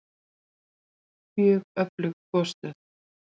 Mjög öflug gosstöð